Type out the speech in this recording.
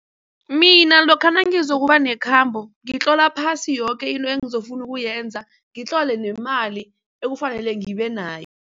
Mina lokha nangizokuba nekhambo ngitlola phasi yoke into engizofuna ukuyenza, ngitlole nemali ekufanele ngibe nayo.